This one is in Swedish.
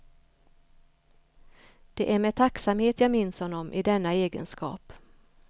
Det är med tacksamhet jag minns honom i denna egenskap.